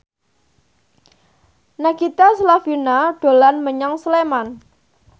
Nagita Slavina dolan menyang Sleman